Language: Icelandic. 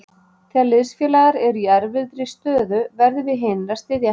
Þegar liðsfélagar eru í erfiðri stöðu, verðum við hinir að styðja hann.